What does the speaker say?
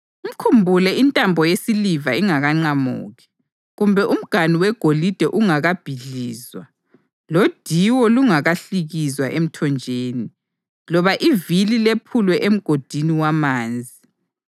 Mkhumbule intambo yesiliva ingakaqamuki, kumbe umganu wegolide ungakabhidlizwa; lodiwo lungakahlikizwa emthonjeni, loba ivili lephulwe emgodini wamanzi,